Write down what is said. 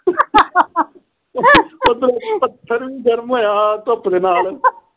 ਪੱਥਰ ਗਰਮ ਹੋਇਆ ਹੋਆ ਧੁੱਪ ਦੇ ਨਾਲ।